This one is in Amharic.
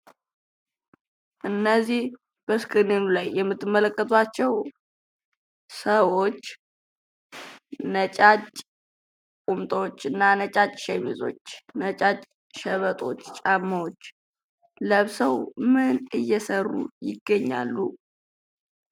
እነዚህ በስክሪኑ ላይ የምትመለከቷቸው ሰዎች ነጫጭ ቁምጣዎች እና ሼሚዚዎች ነጫጭ ሸበጦች ጫማዎች ለብሰው ምን እየሰሩ ይገኛሉ?